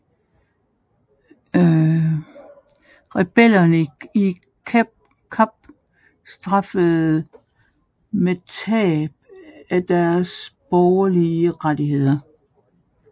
Rebellerne i Kap straffedes med tab af deres borgerlige rettigheder